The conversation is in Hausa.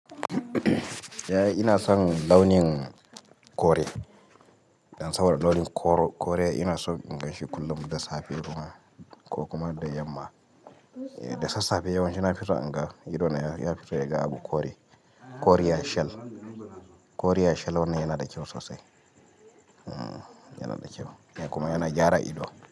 Yaya ina son launin kore. Dan saboda launin koro kore ina so in ganshi kullum da safe, ko kuma da yamma. Da sassafe yawanci na fison inga ido na ya fito ya ga abu kore. Kore ya shel, kore ya shel wannan yana da kyau sosai. Hmm, yana da kyau kuma yana gyara ido.